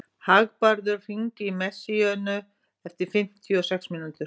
Hagbarður, hringdu í Messíönu eftir fimmtíu og sex mínútur.